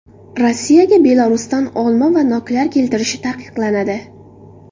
Rossiyaga Belarusdan olma va noklar keltirilishi taqiqlanadi.